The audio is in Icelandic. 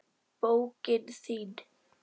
Bókin þín